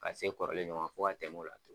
Ka se kɔrɔlen ɲɔgɔn fo ka tɛmɛ o la